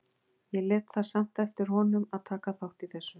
Ég lét það samt eftir honum að taka þátt í þessu.